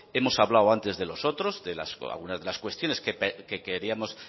hemos hablado antes de los otros de algunas de las cuestiones que queríamos